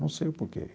Não sei o porquê.